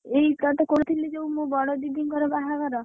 ଏଇ ତତେ କହୁଥିଲି ଯୋଉ ମୋ ବଡ ଦିଦିଙ୍କର ବାହାଘର।